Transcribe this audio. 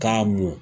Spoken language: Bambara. K'a mɔ